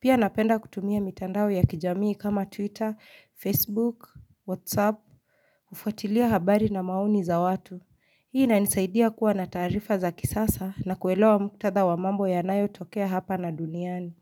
pia napenda kutumia mitandao ya kijamii kama twitter facebook whatsapp Ufuatilia habari na mauni za watu hii inanisaidia kuwa na taarifa za kisasa na kuelewa muktada wa mambo ya nayo tokea hapa na duniani.